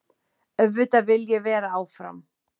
Auðvitað vil ég vera áfram.